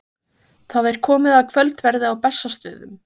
Það er komið að kvöldverði á Bessastöðum.